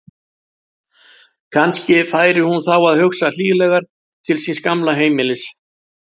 Kannski færi hún þá að hugsa hlýlegar til síns gamla heimilis.